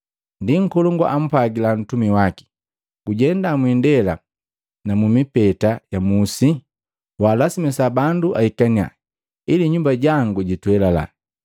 Ndi nkolongu ampwagila mtumi waki, ‘Gujenda mwiindela na mumipeta ya musi waalasimisa bandu aikaniya, ili nyumba jangu jitwelila.